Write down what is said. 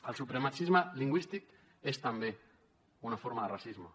el supremacisme lingüístic és també una forma de racisme